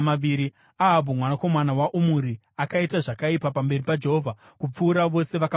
Ahabhu, mwanakomana waOmuri, akaita zvakaipa pamberi paJehovha kupfuura vose vakamutangira.